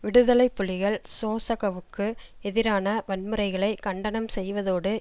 விடுதலை புலிகள் சோசகவுக்கு எதிரான வன்முறைகளை கண்டனம் செய்வதோடு